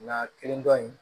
Nka kelen dɔ in